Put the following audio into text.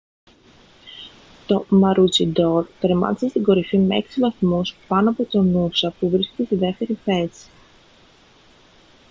το maroochydore τερμάτισε στην κορυφή με έξι βαθμούς πάνω από το noosa που βρίσκεται στη δεύτερη θέση